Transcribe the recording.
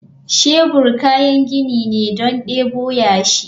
Shebur kayan gini ne don debo yashi.